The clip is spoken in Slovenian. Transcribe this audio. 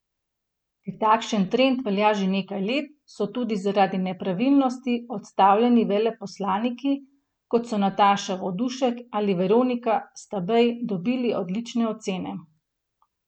Ker takšen trend velja že nekaj let, so tudi zaradi nepravilnosti odstavljeni veleposlaniki, kot so Nataša Vodušek ali Veronika Stabej dobili odlične ocene.